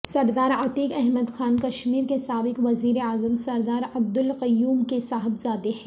سردار عتیق احمد خان کشمیر کے سابق وزیر اعظم سردار عبدالقیوم کے صاحبزادے ہیں